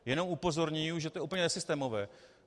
Jenom upozorňuji, že to je úplně nesystémové.